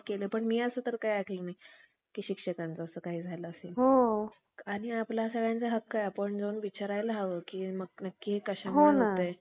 फेरे खाल्याविषयी, त्याच ग्रंथाच्या दहाव्या अध्यायामध्ये एकशे आठ श्लोकांत अशी उपमा घेतली. अखेरीस त्याच पुस्तकात अनेक विरुद्ध